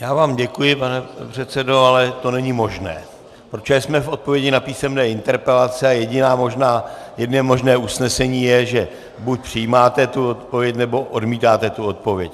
Já vám děkuji, pane předsedo, ale to není možné, protože jsme v odpovědích na písemné interpelace a jediné možné usnesení je, že buď přijímáte tu odpověď, nebo odmítáte tu odpověď.